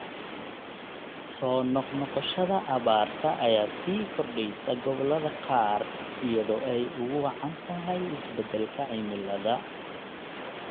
Soo noq-noqoshada abaarta ayaa sii kordhaysa gobollada qaar iyadoo ay ugu wacan tahay isbedelka cimilada.